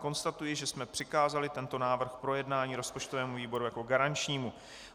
Konstatuji, že jsme přikázali tento návrh k projednání rozpočtovému výboru jako garančnímu.